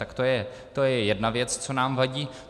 Tak to je jedna věc, co nám vadí.